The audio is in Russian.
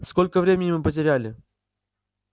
сколько времени мы потеряли